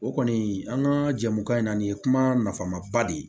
O kɔni an ka jɛmu kan in na nin ye kuma nafama ba de ye